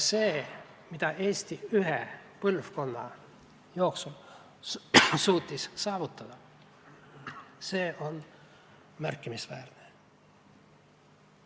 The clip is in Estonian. See, mida Eesti ühe põlvkonna jooksul on suutnud saavutada, on märkimisväärne.